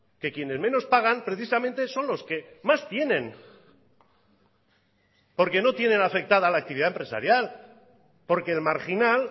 que quienes menos pagan precisamente son los que más tienen porque no tienen afectada la actividad empresarial porque el marginal